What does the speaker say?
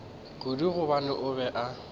kudu gobane o be a